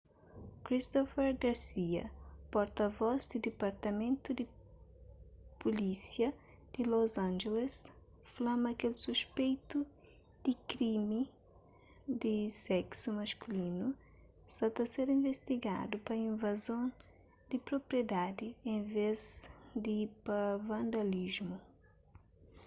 christopher garcia porta-vos di dipartamentu di pulísia di los angeles fla ma kel suspeitu di krimi di seksu maskulinu sa ta ser investigadu pa invazon di propriedadi en vês di pa vandalismu